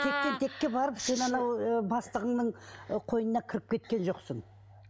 тектен текке барып сен анау ы бастығыңның ы қойнына кіріп кеткен жоқсың